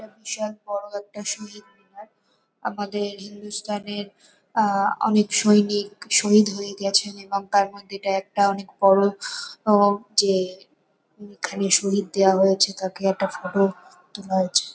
এটা সময়ের বিশাল বড়ো একটা শহীদ মিনার। আমাদের হিন্দুস্থানের আহ অনেক সৈনিক শহীদ হয়ে গেছেন এবং তাঁর মধ্যে এটা একটা অনেক বড়ো । আহ যে এখানে শহীদ দেওয়া হয়েছে তাকে একটা ফটো তোলা হয়েছে ।